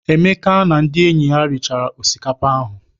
Emeka na ndị enyi ya richara osikapa ahụ.